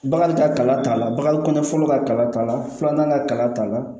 Bagan ka kalan t'a la bakariko ɲɛ fɔlɔ ka kala t'a la filanan ka kala t'a la